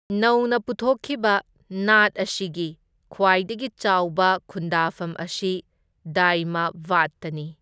ꯅꯧꯅ ꯄꯨꯊꯣꯛꯈꯤꯕ ꯅꯥꯠ ꯑꯁꯤꯒꯤ ꯈ꯭ꯋꯥꯏꯗꯒꯤ ꯆꯥꯎꯕ ꯈꯨꯟꯗꯥꯐꯝ ꯑꯁꯤ ꯗꯥꯏꯃꯕꯥꯗꯇꯅꯤ꯫